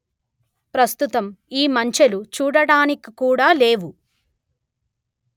ప్రస్తుతం ఈ మంచెలు చూడడానికి కూడ లేవు